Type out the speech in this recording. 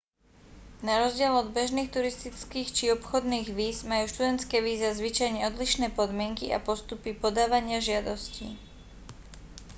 narozdiel od bežných turistických či obchodných víz majú študentské víza zvyčajne odlišné podmienky a postupy podávania žiadostí